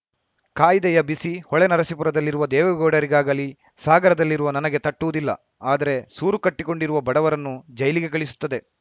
ಕಾಯ್ದೆಯ ಬಿಸಿ ಹೊಳೆನರಸಿಪುರದಲ್ಲಿರುವ ದೇವೇಗೌಡರಿಗಾಗಲೀ ಸಾಗರದಲ್ಲಿರುವ ನನಗೆ ತಟ್ಟುವುದಿಲ್ಲ ಆದರೆ ಸೂರು ಕಟ್ಟಿಕೊಂಡಿರುವ ಬಡವರನ್ನು ಜೈಲಿಗೆ ಕಳಿಸುತ್ತದೆ